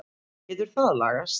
Getur það lagast?